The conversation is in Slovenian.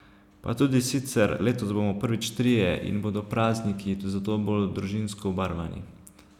Pa tudi sicer, letos bomo prvič trije in bodo prazniki zato bolj družinsko obarvani.